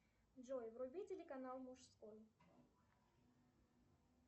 джой вруби телеканал мужской